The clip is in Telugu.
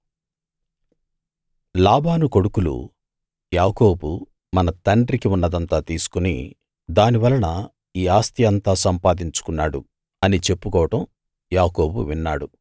లాబాను కొడుకులు యాకోబు మన తండ్రికి ఉన్నదంతా తీసుకుని దాని వలన ఈ ఆస్తి అంతా సంపాదించుకున్నాడు అని చెప్పుకోవడం యాకోబు విన్నాడు